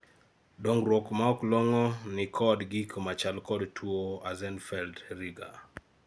dongruok maok long'o gi nikod gik machal kod tuo Axenfeld-Rieger